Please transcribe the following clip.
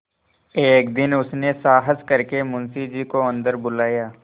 एक दिन उसने साहस करके मुंशी जी को अन्दर बुलाया